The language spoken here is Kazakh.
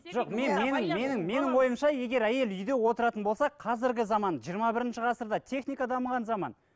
жоқ мен менің менің менің ойымша егер әйел үйде отыратын болса қазіргі заман жиырма бірінші ғасырда техника дамыған заман